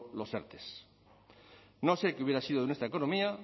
los erte no sé qué hubiera sido de nuestra economía